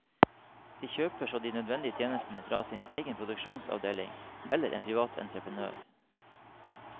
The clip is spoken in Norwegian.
De kjøper så de nødvendige tjenestene fra sin egen produksjonsavdeling eller en privat entreprenør.